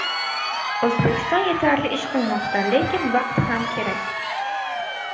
O‘zbekiston yetarli ish qilmoqda, lekin vaqt ham kerak.